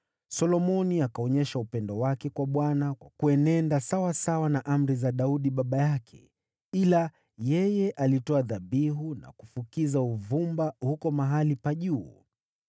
Solomoni akaonyesha upendo wake kwa Bwana kwa kuenenda sawasawa na amri za Daudi baba yake, ila yeye alitoa dhabihu na kufukiza uvumba huko mahali pa juu.